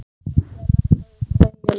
Indía, lækkaðu í græjunum.